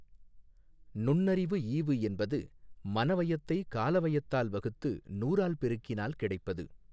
நுண்ணறிவுஈவு என்பது மனவயதை காலவயதால் வகுத்து நூறால் பெருக்கினால் கிடைப்பது.